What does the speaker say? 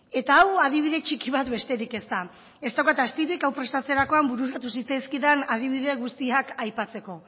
eta hau adibide txiki bat besterik ez da ez daukat astirik hau prestatzerakoan bururatu zitzaizkidan adibide guztiak aipatzeko